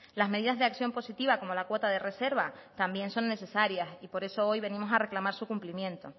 las medidas de acción positiva como la cuota de reserva también son necesarias y por eso hoy venimos a reclamar su cumplimiento